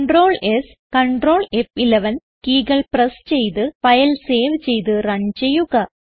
Ctrl S Ctrl ഫ്11 കീകൾ press ചെയ്ത് ഫയൽ സേവ് ചെയ്ത് റൺ ചെയ്യുക